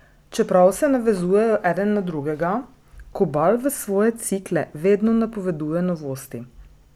Čeprav se navezujejo eden na drugega, Kobal v svoje cikle vedno napoveduje novosti.